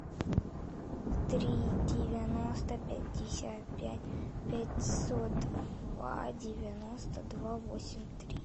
три девяносто пятьдесят пять пятьсот два девяносто два восемь три